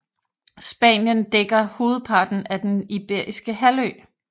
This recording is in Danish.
Spanien dækker hovedparten af Den Iberiske Halvø